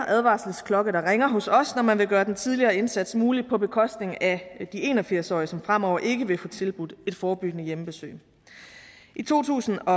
advarselsklokke der ringer hos os når man vil gøre den tidligere indsats mulig på bekostning af en og firs årige som fremover ikke vil få tilbudt et forebyggende hjemmebesøg i to tusind og